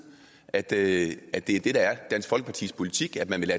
at det er dansk folkepartis politik at man vil